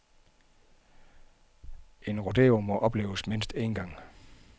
Et rodeo må opleves mindst en gang.